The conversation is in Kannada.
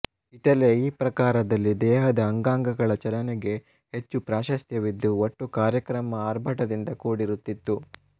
ಇಟಲಿಯ ಈ ಪ್ರಕಾರದಲ್ಲಿ ದೇಹದ ಅಂಗಾಂಗಗಳ ಚಲನೆಗೆ ಹೆಚ್ಚು ಪ್ರಾಶಸ್ತ್ಯವಿದ್ದು ಒಟ್ಟು ಕಾರ್ಯಕ್ರಮ ಆರ್ಭಟದಿಂದ ಕೂಡಿರುತ್ತಿತ್ತು